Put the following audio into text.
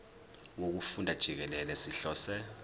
wokufunda jikelele sihlose